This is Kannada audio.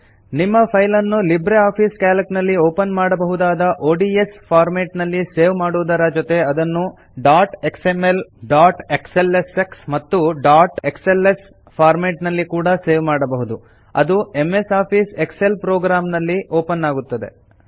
ನಿಮ್ಮ ಫೈಲ್ ಅನ್ನು ಲಿಬ್ರೆ ಆಫೀಸ್ ಕ್ಯಾಲ್ಕ್ ನಲ್ಲಿ ಓಪನ್ ಮಾಡಬಹುದಾದ ಒಡಿಎಸ್ ಫಾರ್ಮೆಟ್ ನಲ್ಲಿ ಸೇವ್ ಮಾಡುವುದರ ಜೊತೆ ಅದನ್ನು ಡಾಟ್ ಎಕ್ಸ್ಎಂಎಲ್ ಡಾಟ್ ಎಕ್ಸ್ಎಲ್ಎಸ್ಎಕ್ಸ್ ಮತ್ತು ಡಾಟ್ ಎಕ್ಸ್ಎಲ್ಎಸ್ ಫಾರ್ಮೆಟ್ ನಲ್ಲಿ ಕೂಡ ಸೇವ್ ಮಾಡಬಹುದು ಅದು MS Office Excel program ನಲ್ಲಿ ಓಪನ್ ಆಗುತ್ತದೆ